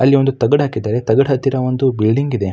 ಅಲ್ಲಿ ಒಂದು ತಗಡ್ ಹಾಕಿದ್ದಾರೆ ತಗಡ್ ಹತ್ತಿರ ಒಂದು ಬಿಲ್ಡಿಂಗ್ ಇದೆ.